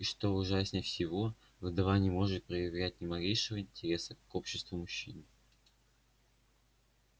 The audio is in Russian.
и что ужаснее всего вдова не может проявлять ни малейшего интереса к обществу мужчин